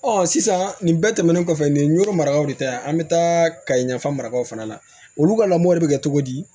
sisan nin bɛɛ tɛmɛnen kɔfɛ nin ye n ɲɔrɔ maragaw de ta ye an bɛ taa kayi yafa marakaw fana na olu ka lamɔ de bɛ kɛ cogo di